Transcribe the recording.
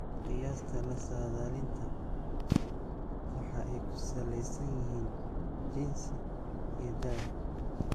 "Qiyaasta la saadaalinta waxa ay ku saleysan yihiin jinsi iyo da'da."